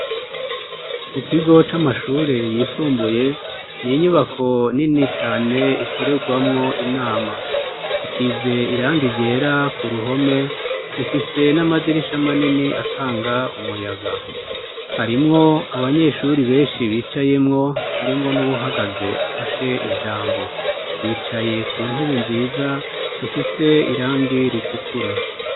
Mu kigo c'amashure yisumbuye, n'inyubako nini cane ikorerwamwo inama. Isize irangi ryera k'uruhome. Ifise n'amadirisha manini atanga umuyaga. harimwo abanyeshuri benshi bicayemwo, harimwo n'uwuhagaze afashe ijambo. Bicaye ku ntebe nziza zifise irangi ritukura.